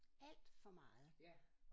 Alt for meget